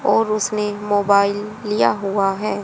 और उसने एक मोबाइल लिया हुआ है।